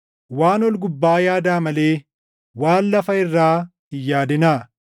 Waan ol gubbaa yaadaa malee waan lafa irraa hin yaadinaa.